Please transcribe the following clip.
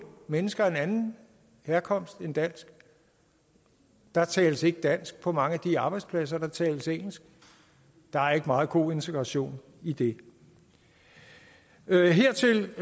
mennesker af en anden herkomst end dansk der tales ikke dansk på mange af de arbejdspladser der tales engelsk der er ikke meget god integration i det det hertil